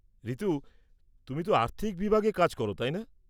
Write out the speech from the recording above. ঋতু, তুমি তো আর্থিক বিভাগে কাজ করো, তাই না?